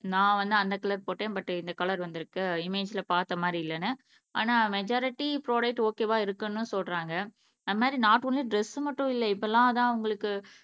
நான் வந்து அந்த கலர் போட்டேன் பட் இந்த கலர் வந்துருக்கு இமேஜ்ல பாத்த மாதிரி இல்லனு ஆனா மெஜாரிட்டி ப்ராடக்ட் ஓகேவா இருக்குனு சொல்றாங்க ஆனா நாட் ஒன்லி ட்ரெஸ் மட்டும் இல்ல இப்பலாம் அதான் உங்களுக்கு